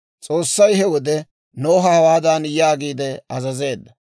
S'oossay he wode Noha hawaadan yaagiide azazeedda;